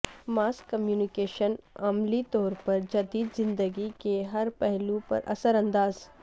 ماس communication عملی طور پر جدید زندگی کے ہر پہلو پر اثر انداز